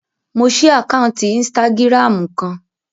Mo ṣí àkáǹtì ínstágíráàmù kan